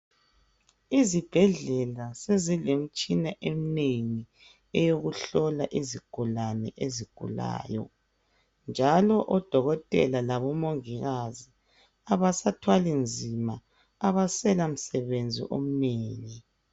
Izibhedlela sezilemitshina eminengi eyokuhlola izigulane ezigulayo njalo odokotela labomongikazi abasathwali nzima. abasela msebenzi omnengi